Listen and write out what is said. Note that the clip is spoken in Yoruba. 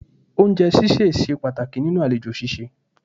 Oúnjẹ ṣíṣẹ̀ ṣe pàtàkì nínú àlejò ṣíṣe